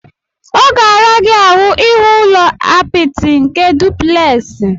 Ọ ga-ara gị ahu ihu ụlọ apịtị nke dupleksi.